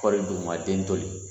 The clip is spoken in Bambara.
ma den to